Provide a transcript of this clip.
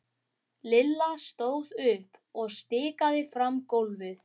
Lilla stóð upp og stikaði fram gólfið.